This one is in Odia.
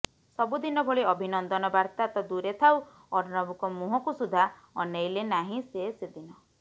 ସବୁଦିନ ଭଳି ଅଭିନନ୍ଦନ ବାର୍ତ୍ତା ତ ଦୂରେ ଥାଉ ଅର୍ଣ୍ଣବଙ୍କ ମୁହଁକୁ ସୁଦ୍ଧା ଅନେଇଲେ ନାହିଁ ସେ ସେଦିନ